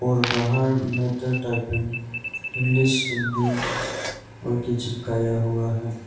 और बाहर matter typing English Hindi चिपकाया हुआ है।